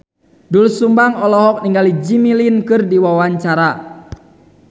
Doel Sumbang olohok ningali Jimmy Lin keur diwawancara